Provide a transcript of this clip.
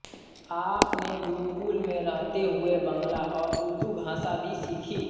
आपने गुरुकुल में रहते हुए बंगला और उर्दू भाषा भी सीखी